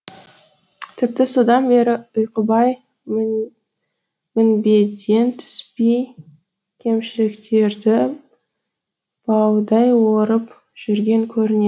тіпті содан бері ұйқыбай мінбеден түспей кемшіліктерді баудай орып жүрген көріне